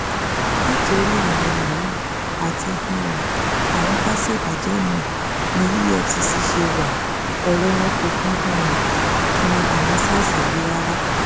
nítorí àwọn yahoo àti um àwọn ká ṣèbàjẹ míín ní efcc ṣe wá ọrọ wọn kò um kan àwọn sars yìí rárá